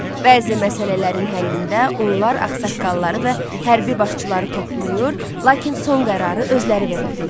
Bəzi məsələlərin həllində onlar ağsaqqalları və hərbi başçıları toplayır, lakin son qərarı özləri verirdilər.